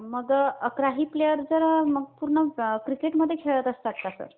मग अकरावी प्लेयर जर पूर्ण क्रिकेटमध्ये खेळत असतात का सर?